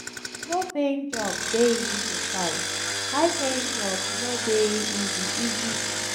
low paying jobs de easy to find high paying jobs no de easy easy to find